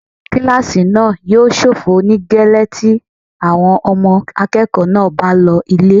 Àwọn kílásì náà yóò ṣófo nígẹ́lẹ́ tí àwọn ọmọ akẹ́kọ̀ọ́ náà bá lọ ilé